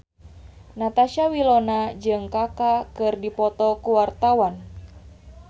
Natasha Wilona jeung Kaka keur dipoto ku wartawan